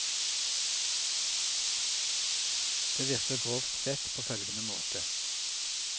Det virker grovt sett på følgende måte.